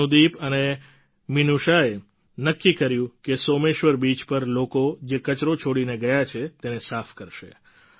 અનુદીપ અને મિનૂષાએ નક્કી કર્યું કે સોમેશ્વર બીચ પર લોકો જે કચરો છોડીને ગયા છે તેને સાફ કરશે